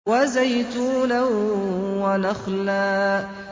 وَزَيْتُونًا وَنَخْلًا